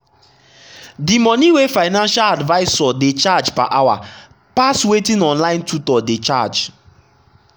the money wey financial advisor dey collect per hour pass wetin online tutor dey charge.